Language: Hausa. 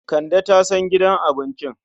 Kande ta san gidan abincin.